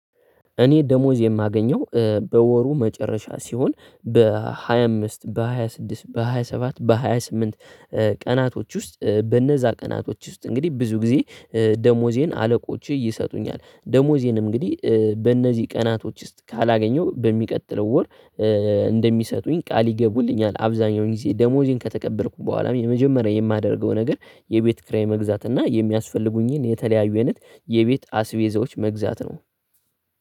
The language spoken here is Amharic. እኔ ደሞዝ የማገኘው በወሩ መጨረሻ ሲሆን በሃያ አምስት በሃያ ስድስት በሃያ ሰባት በሃያ ስምንት ቀናቶች ውስጥ በነዛ ቀናቶች ውስጥ እንግዲህ ብዙ ጊዜ ደሞዜን አለቆቼ ይሰጡኛል ደሞዜን እንግዲህ በእነዚህ ቀናቶች ውስጥ ካላገኘው በሚቀጥለው ወር ቃል ይገቡልኛል። አብዛኛውን ጊዜ ደሞዜን ከተቀበልኩ በኋላም የመጀመሪያ የማደርገው ነገር የቤት ክራይ መግዛት እና የሚያስፈልጉኝን የተለያዩ አይነት የቤት አስቤዛዎች መግዛት ነው።